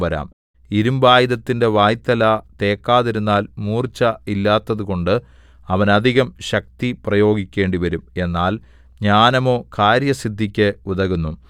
ഇരിമ്പായുധത്തിന്റെ വായ്ത്തല തേക്കാതിരുന്നാൽ മൂർച്ച ഇല്ലാത്തതുകൊണ്ട് അവൻ അധികം ശക്തി പ്രയോഗിക്കേണ്ടിവരും എന്നാൽ ജ്ഞാനമോ കാര്യസിദ്ധിക്ക് ഉതകുന്നു